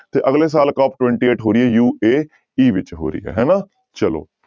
ਤੇ ਅਗਲੇ ਸਾਲ COP twenty eight ਹੋ ਰਹੀ ਹੈ UAE ਵਿੱਚ ਹੋ ਰਹੀ ਹੈ ਹਨਾ, ਚਲੋ।